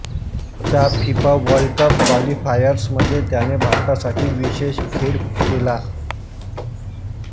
च्या FIFA World Cup क्वालिफायर्समध्ये त्याने भारतासाठी विशॆष खेळ केला